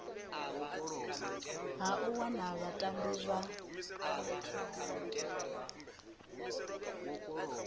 ha u wana vhatambi vha